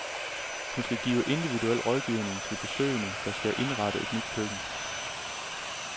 Hun vil give individuel rådgivning til besøgende, der skal indrette et nyt køkken.